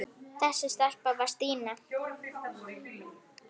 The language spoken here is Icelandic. Þessi stelpa var Stína.